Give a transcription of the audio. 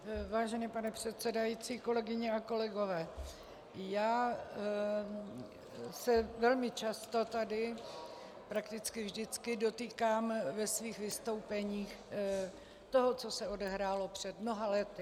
Vážený pane předsedající, kolegyně a kolegové, já se velmi často tady, prakticky vždycky, dotýkám ve svých vystoupeních toho, co se odehrálo před mnoha lety.